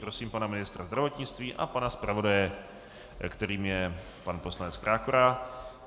Prosím pana ministra zdravotnictví a pana zpravodaje, kterým je pan poslanec Krákora.